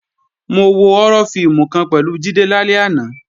Mo wo họ́rọ́ fíìmù kan pẹ̀lú Jídé lálẹ́ àná